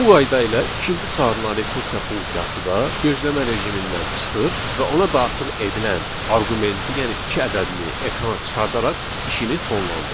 Bu qayda ilə ikinci çağırılan rekursiya funksiyası da gözləmə rejimindən çıxır və ona daxil edilən arqumenti, yəni iki ədədini ekrana çıxardaraq işini sonlandırır.